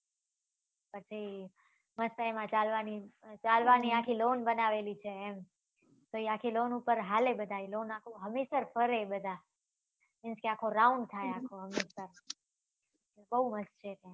પછી એમાં ચાલવા ની ચાલવા ની આખી loan બનાવેલી છે એમ પછી આખી loan ઉપર ચાલે બધા એ loan આખું હમીસર ફરે બધા means કે આખો round થાય આખો હમીસર